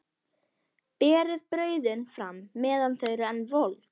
Berið brauðin fram meðan þau eru enn volg.